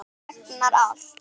Hann megnar allt.